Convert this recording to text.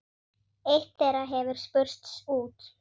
Eitt þeirra hefur spurst út.